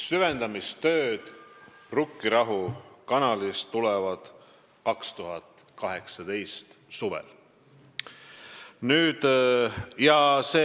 Süvendamistööd Rukkirahu kanalis tulevad 2018. aasta suvel.